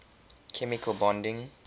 chemical bonding